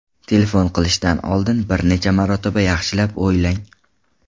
Telefon qilishdan oldin bir necha marotaba yaxshilab o‘ylang.